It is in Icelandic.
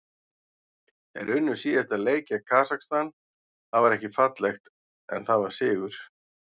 Þeir unnu síðasta leik gegn Kasakstan, það var ekki fallegt en það var sigur.